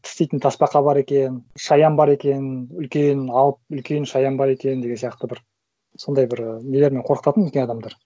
тістейтін тасбақа бар екен шаян бар екен үлкен алып үлкен шаян бар екен деген сияқты бір сондай бір і нелермен қорқытатын үлкен адамдар